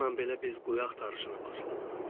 Bundan belə biz quyu axtarışına başladıq.